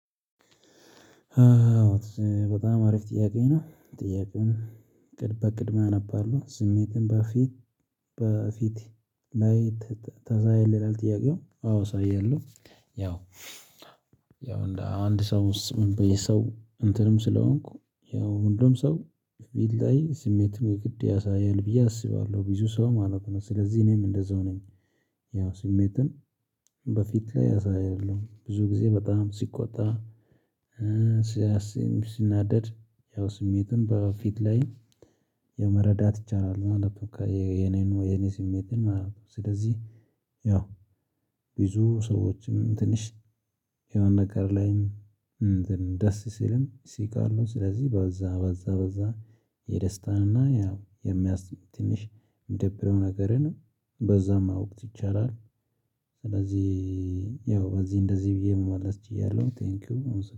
በጣም አሪፍ ጥያቄ ነው ጥያቄውን እቅድ በእቅድ አነባለው ስሜትን በፊት በፊት ላይ ታሳያለህ ይላል ጥያቄው አዎ አሳያለሁ። ያው ያው አንድ ሰው ምን በየሰው እንትንም ስለሆንኩ ያው ሁሉም ሰው ቢለያይ ስሜትን የግድ ያሳያል ብዬ አስባለሁ ብዙ ሰው ማለት ነው ስለዚህ እኔም እንደዛው ነኝ። ያው ስሜትን በፊት ላይ አሳያለሁ ብዙ ጊዜ በጣም ሲቆጣ ስናደድ ያው ስሜተን በፊት ላይ የመረዳት ይቻላል ማለት ነው። የኔን ወይ የኔ ስሜትን ማለት ነው። ስለዚህ ያው ብዙ ሰዎችም ትንሽ የሆነ ነገር ላይም ደስ ሲልም ሲቃሉ ስለዚህ በዛ በዛ በዛ የደስታንና ያው የሚያስትምህ ትንሽ የሚደብረው ነገርንም በዛም ማወቅ ይቻላል። ስለዚህ ያው በዚህ እንደዚህ ብዬ መመለስ እችላለሁ። ቴንኪው